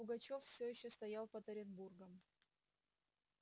пугачёв всё ещё стоял под оренбургом